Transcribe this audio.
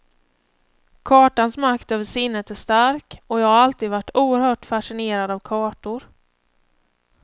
Kartans makt över sinnet är stark, och jag har alltid varit oerhört fascinerad av kartor.